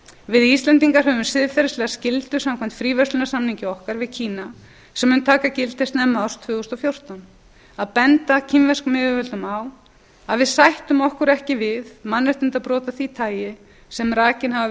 við íslendingar höfum siðferðislega skyldu samkvæmt fríverslunarsamningi okkar við kína sem mun taka gildi snemma árs tvö þúsund og fjórtán að benda kínverskum yfirvöldum á að við sættum okkur ekki við mannréttindabrot af því tagi sem rakin hafa